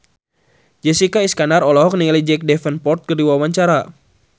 Jessica Iskandar olohok ningali Jack Davenport keur diwawancara